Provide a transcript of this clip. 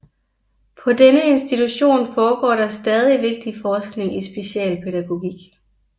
På denne institution foregår der stadig vigtig forskning i specialpædagogik